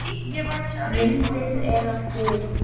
Myndin er á hlið.